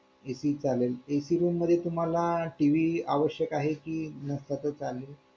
AC चालेल AC room मध्ये तुम्हाला TV आवश्यक आहे की नसता तर चालेल